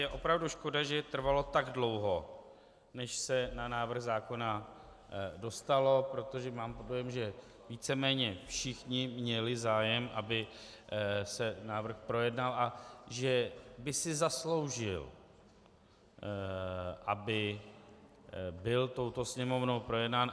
Je opravdu škoda, že trvalo tak dlouho, než se na návrh zákona dostalo, protože mám dojem, že víceméně všichni měli zájem, aby se návrh projednal, a že by si zasloužil, aby byl touto sněmovnou projednán.